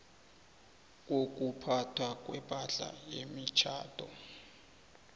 kokuphathwa kwepahla yemitjhado